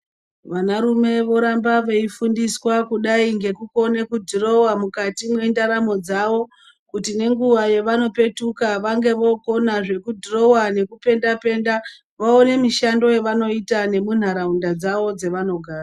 Vana rume voramba veifundiswa kudai ngekukone kudhurowa mukati mwendaramo dzavo. Kuti nenguva yavanopetuka vange vokona zvekudhurowa nekupenda-penda vaone mishando yavanoita nemunharaunda dzavo dzavanogara.